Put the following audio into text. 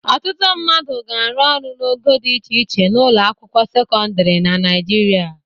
Ọtụtụ mmadụ na-arụ ọrụ n'ogo dị iche iche n'ụlọ akwụkwọ sekọndịrị na Naịjirịa.